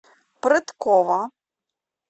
прыткова